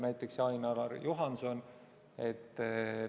Näiteks Ain-Alar Juhanson.